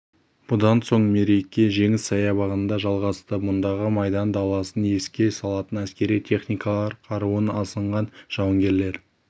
бұдан соң мереке жеңіс саябағында жалғасты мұндағы майдан даласын еске салатын әскери техникалар қаруын асынған жауынгерлер